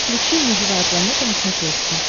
включи мне живая планета на смотрешке